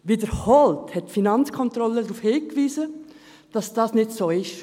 Wiederholt hat die Finanzkontrolle darauf hingewiesen, dass das nicht so ist.